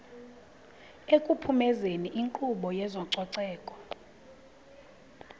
ekuphumezeni inkqubo yezococeko